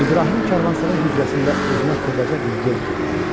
İbrahim karvansaray hücrəsində özünə xırdaca bir yer kirələdi.